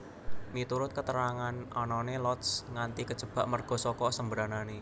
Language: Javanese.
Miturut keterangan anané Lotz nganti kejebak merga saka sembranané